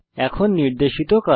এখন নির্দেশিত কাজ